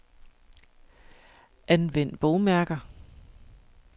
Anvend bogmærker.